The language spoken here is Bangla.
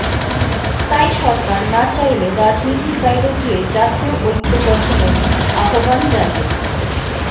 তাই সরকার না চাইলে রাজনীতির বাইরে গিয়ে জাতীয় ঐক্য গঠনের আহ্বান জানিয়েছেন